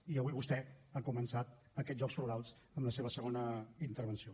i avui vostè ha començat aquests jocs florals amb la seva segona intervenció